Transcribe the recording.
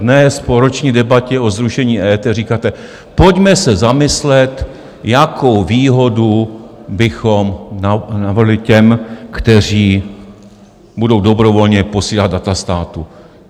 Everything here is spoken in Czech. Dnes, po roční debatě o zrušení EET, říkáte: Pojďme se zamyslet, jakou výhodu bychom navrhli těm, kteří budou dobrovolně posílat data státu.